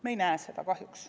Me ei näe seda kahjuks.